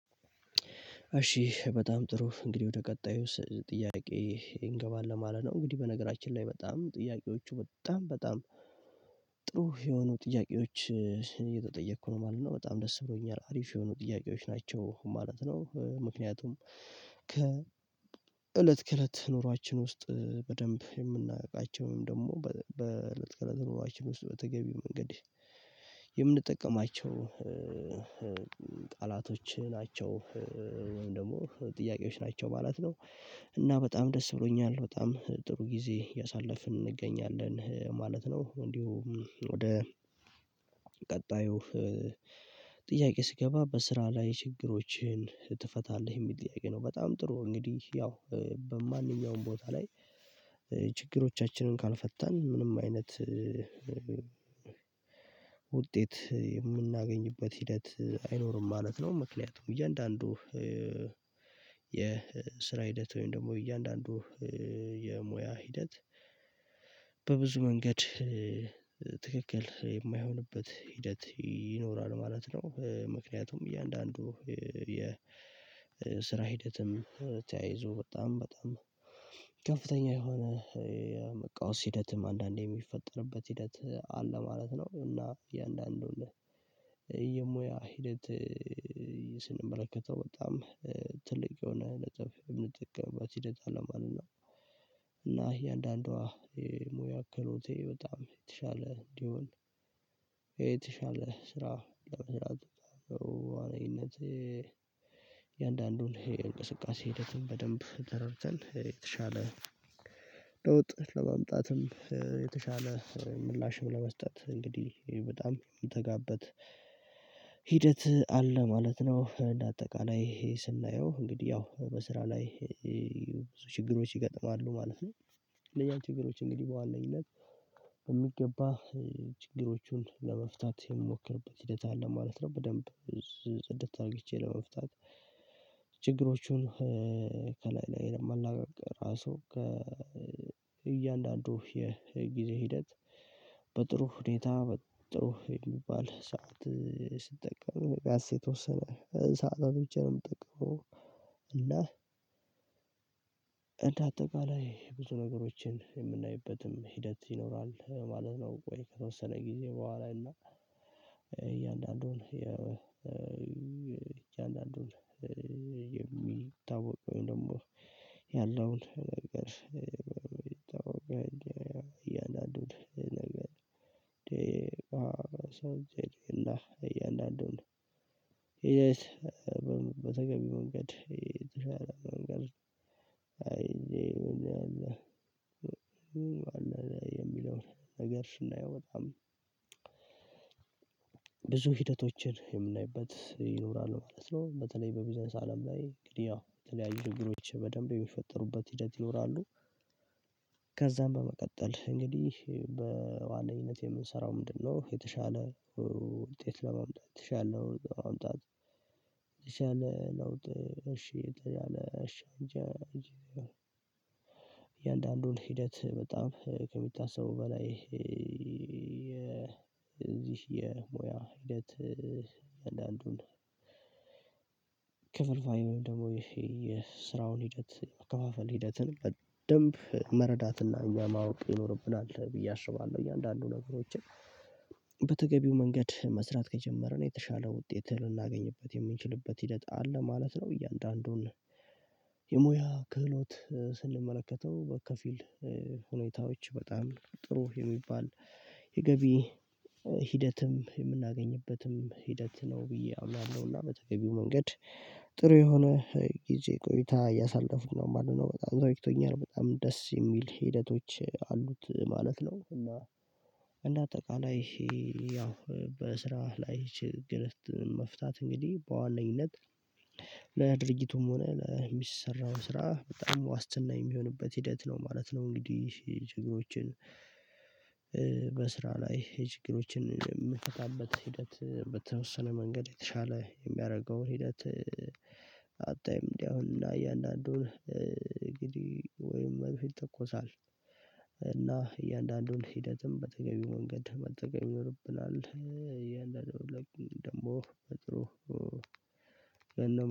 እሺ በጣም ጥሩ እንግዲህ ወደ ቀጣዩ ጥያቄ እንገባለን ማለት ነው። እንግዲህ በነገራችን ላይ በጣም ጥያቄዎቹ በጣም በጣም ጥሩ የሆኑ ጥያቄዎች። እየተጠየቅኩ ነው ማለት ነው በጣም ደስ ብሎኛል አሪፍ የሆኑ ጥያቄዎች ናቸው ማለት ነው። ምክንያቱም ከ እለት ከእለት ኑሯችን ውስጥ በደንብ የምናውቃቸውም ደግሞ በእለት ከእለት ኑሯችን ውስጥ በተገቢው መንገድ የምንጠቀማቸው ቃላቶች ናቸው። ወይም ደግሞ ጥያቄዎች ናቸው ማለት ነው። እና በጣም ደስ ብሎኛል በጣም ጥሩ ጊዜ ያሳለፍን እንገኛለን ማለት ነው። እንዲሁ ወደ ቀጣዩ ጥያቄ ስገባ በስራ ላይ ችግሮችን ትፈታለህ የሚል ጥያቄ ነው? በጣም ጥሩ እንግዲህ ያው በማንኛውም ቦታ ላይ ችግሮቻችንን ካልፈታን ምንም አይነት ውጤት የምናገኝበት ሂደት አይኖርም ማለት ነው። ምክንያቱም እያንዳንዱ የስራ ሂደት ወይም ደግሞ እያንዳንዱ የሙያ ሂደት በብዙ መንገድ ትክክል የማይሆንበት ሂደት ይኖራል ማለት ነው። ምክንያቱም እያንዳንዱ የ ስራ ሂደትም ተያይዞ በጣም በጣም ከፍተኛ የሆነ የመቃወስ ሂደትም አንዳንዴ የሚፈጠርበት ሂደት አለ ማለት ነው። እና እያንዳንዱን የሙያ ሂደት ስንመለከተው በጣም ትልቅ የሆነ ነጥብ የምንጠቀምበት ሂደት አለ ማለት ነው። እና የእያንዳንዷ ሙያ አከሎቴ በጣም የተሻለ እንዲሆን የተሻለ ስራ ለመስራት ነው። በዋነኝነት የእያንዳንዱን ይሄ እንቅስቃሴ ሂደትን በደንብ ተረድተን የተሻለ ለውጥ ለማምጣትም የተሻለ ምላሽም ለመስጠት እንግዲህ በጣም ምተጋበት ሂደት አለ ማለት ነው። እንደ አጠቃላይ ስናየው እንግዲህ ያው በስራ ላይ ብዙ ችግሮች ይገጥማሉ ማለት ነው። እነኛን ችግሮች እንግዲህ በዋናነኝነት በሚገባ ችግሮቹን ለመፍታት የምሞክርበት ሂደት አለ ማለት ነው። በደንብ ጽድት አድርግቼ ለመፍታት ችግሮቹን ከላይ ላይ የማላጋግ ራሱ ከእያንዳንዱ የጊዜ ሂደት በጥሩ ሁኔታ መጥቶ የሚባል ሰዓት ስጠቀም ቢያንስ የተወሰነ ሰዓታት ብቻ ነው የምጠቀመው። እንደ አጠቃላይ ብዙ ነገሮችን የምናይበትም ሂደት ይኖራል ማለት ነው። ወይ የተወሰነ ጊዜ በኋላ እና እያንዳንዱን የሚታወቀው ወይም ደግሞ ያለውን ነገር ይታወቃል እያንዳንዱን ነገር ደቂቃ ሰው ጄዴና እያንዳንዱን ሂደት በተገቢው መንገድ የተሻለ መንገድ አይ የሚለውን ነገር ስናየው በጣም ብዙ ሂደቶችን የምናይበት ይኖራሉ ማለት ነው። በተለይ በቢዝነስ አለም ላይ እንግዲህ ያው የተለያዩ ችግሮች በደንብ የሚፈጠሩበት ሂደት ይኖራሉ። ከዛም በመቀጠል እንግዲህ በዋነኝነት የምንሰራው ምንድነው? የተሻለ ውጤት ለመምጣት የተሻለ ለመምጣት የተሻለ ለውጥ እሺ። እያንዳንዱን ሂደት በጣም ከሚታሰበው በላይ የዚህ የሞያ ህይወት አንዳንዱን ክፍልፋዩንም ደግሞ ይሄ የስራውን ሂደት መከፋፈል ሂደትን በደንብ መረዳትና እኛ ማወቅ ይኖርብናል ብዬ አስባለሁ እያንዳንዱ ነገሮችን በተገቢው መንገድ መስራት ከጀመርን የተሻለ ውጤት ልናገኝበት የምንችልበት ሂደት አለ ማለት ነው። እያንዳንዱን የሙያ ክህሎት ስንመለከተው በከፊል ሁኔታዎች በጣም ጥሩ የሚባል የገቢ ሂደትም የምናገኝበትም ሂደት ነው ብዬ አምናለሁና በተገቢው መንገድ ጥሩ የሆነ ጊዜ ቆይታ እያሳለፍኩ ነው ማለት ነው። በጣም ተመችቶኛል በጣም ደስ የሚል ሂደቶች አሉት ማለት ነው። እና እንደ አጠቃላይ ይሄ ያው በስራ ላይ ችግር መፍታት እንግዲህ በዋነኝነት ለድርጊቱም ሆነ ለሚሰራው ስራ በጣም ዋስትና የሚሆንበት ሂደት ነው ማለት ነው። እንግዲህ ጀግኖችን በስራ ላይ ችግሮችን የምትፈታበት ሂደት በተወሰነ መንገድ የተሻለ የሚያደርገው ሂደት አታይም እንዲህ አሁን እንደ እያንዳንዱን እንግዲህ ወይም መድፍ ይተኮሳል እና እያንዳንዱን ሂደትም በተገቢው መንገድ መጠቀም ይኖርብናል። ደግሞ በጥሩ